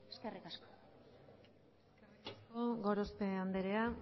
eskerrik asko eskerrik asko gorospe andrea